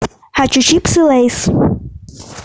хочу чипсы лейс